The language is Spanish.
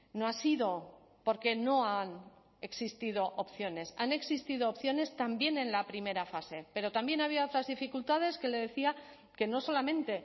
no ha sido porque no han existido opciones han existido opciones también en la primera fase pero también había otras dificultades que le decía que no solamente